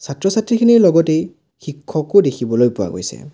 ছাত্ৰ-ছাত্ৰীখনিৰ লগতেই শিক্ষকো দেখিবলৈ পোৱা গৈছে।